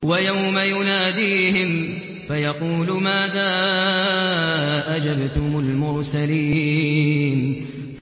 وَيَوْمَ يُنَادِيهِمْ فَيَقُولُ مَاذَا أَجَبْتُمُ الْمُرْسَلِينَ